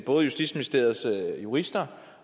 både justitsministeriets jurister